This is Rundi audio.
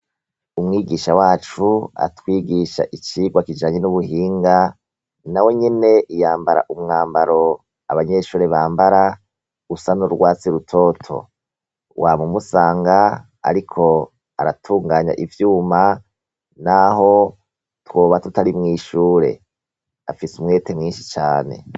Umwigisha wacu atwigisha icirwa kijanye n'ubuhinga na we nyene iyambara umwambaro abanyeshure bambara usa n'urwatsi rutoto wa mu musanga, ariko aratunganya ivyuma, naho twoba tutari mwishure afise umwete mwinshi cane.